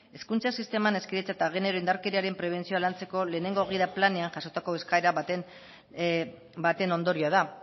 hezkuntza sisteman hezkidetza eta genero indarkeriaren prebentzioa lantzeko lehenengo gida planean jasotako eskaera baten ondorioa da